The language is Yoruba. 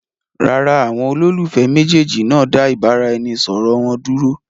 Rárá, àwọn olólùfẹ́ méjèèjì náà dá ìbáraẹnisọọ̀rọ̀ wọn dúró.